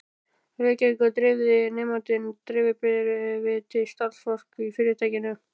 Reykjavíkur, dreifði nemandinn dreifibréfi til starfsfólks í fyrirtækinu.